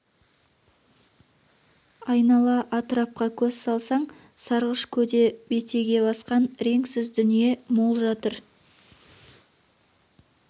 айнала атырапқа көз салсаң сарғыш көде бетеге басқан реңсіз дүние мол жатыр